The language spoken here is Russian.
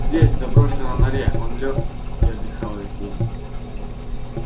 здесь в заброшенной норе он лёг и отдыхал весь день